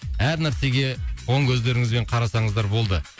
әр нәрсеге оң көздеріңізбен қарасаңыздар болды